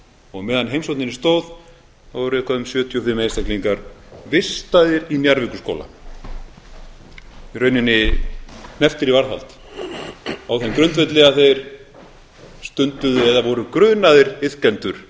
og á meðan á heimsókninni stóð voru eitthvað um sjötíu og fimm einstaklingar vistaðir í njarðvíkurskóla í rauninni hnepptir í varðhald á þeim grundvelli að þeir stunduðu eða voru grunaðir iðkendur